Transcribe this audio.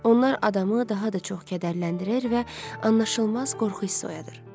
Onlar adamı daha da çox kədərləndirir və anlaşılmaz qorxu hissi oyadır.